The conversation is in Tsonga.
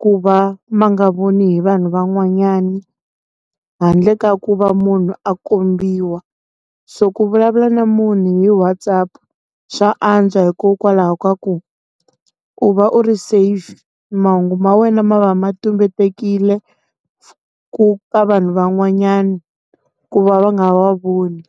ku va ma nga voni vanhu van'wanyana. Handle ka ku va munhu a kombiwa. So ku vulavula na munhu hi WhatsApp swa antswa hikokwalaho ka ku, u va u ri safe. Mahungu ma wena ma va ma tumbetekile, ku ka vanhu van'wanyani, ku va va nga wa voni.